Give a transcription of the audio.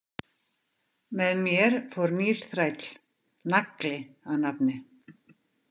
Með mér fór nýr þræll, Nagli að nafni.